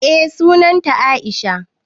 Eh sunan ta Aisha.